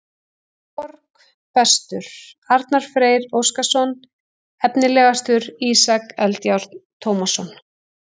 Árborg: Bestur: Arnar Freyr Óskarsson Efnilegastur: Ísak Eldjárn Tómasson